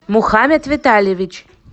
мухамед витальевич